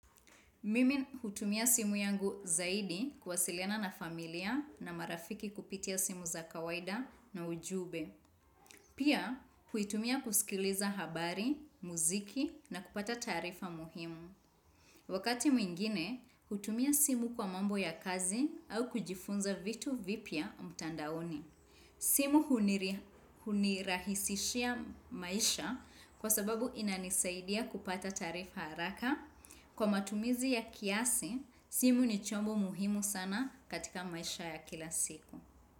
Mimi hutumia simu yangu zaidi kuwasiliana na familia na marafiki kupitia simu za kawaida na ujumbe. Pia, huitumia kusikiliza habari, muziki na kupata taarifa muhimu. Wakati mwingine, hutumia simu kwa mambo ya kazi au kujifunza vitu vipya mtandaoni. Simu hunirahisishia maisha kwa sababu inanisaidia kupata taarifa haraka. Kwa matumizi ya kiasi, simu ni chombo muhimu sana katika maisha ya kila siku.